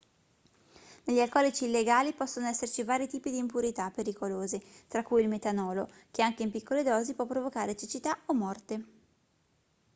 negli alcolici illegali possono esserci vari tipi di impurità pericolose tra cui il metanolo che anche in piccole dosi può provocare cecità o morte